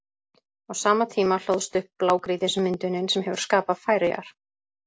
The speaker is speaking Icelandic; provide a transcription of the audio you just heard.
Á sama tíma hlóðst upp blágrýtismyndunin sem hefur skapað Færeyjar.